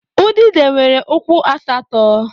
Udide nwere ụkwụ asatọ.